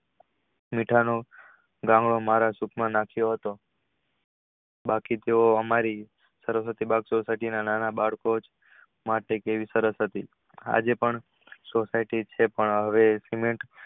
મીઠાનો ગાંગડો મારા મોઢા માં નાખીયો હતો બાકી તેવો અમારી નાના બાળકો માટે કેવી સરસ હતી આજેપણ society પણ હવે